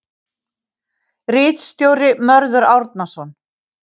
Ritstjóri Mörður Árnason.